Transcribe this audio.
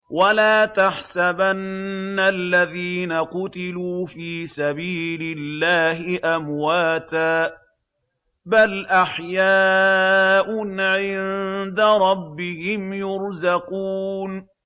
وَلَا تَحْسَبَنَّ الَّذِينَ قُتِلُوا فِي سَبِيلِ اللَّهِ أَمْوَاتًا ۚ بَلْ أَحْيَاءٌ عِندَ رَبِّهِمْ يُرْزَقُونَ